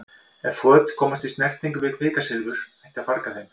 Ef föt komast í snertingu við kvikasilfur ætti að farga þeim.